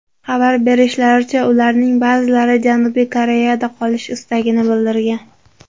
Xabar berishlaricha, ularning ba’zilari Janubiy Koreyada qolish istagini bildirgan.